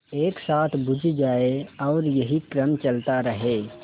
एक साथ बुझ जाएँ और यही क्रम चलता रहे